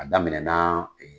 A daminɛ na